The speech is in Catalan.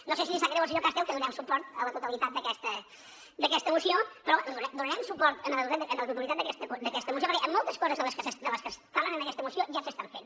no sé si li sap greu al senyor castel que li donem suport a la totalitat d’aquesta moció però donarem suport a la totalitat d’aquesta moció perquè moltes de les coses que es parlen en aquesta moció ja s’estan fent